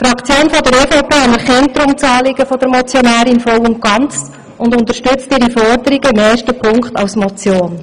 Die EVP-Fraktion anerkennt deshalb das Anliegen der Motionärin voll und ganz und unterstützt ihre Forderungen im ersten Punkt als Motion.